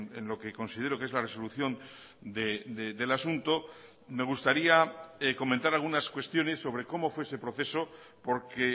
en lo que considero que es la resolución del asunto me gustaría comentar algunas cuestiones sobre cómo fue ese proceso porque